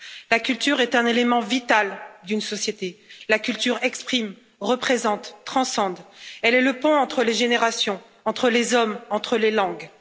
La culture est un élément vital d'une société, la culture exprime, représente, transcende, elle est le pont entre les générations, entre les hommes, entre les langues.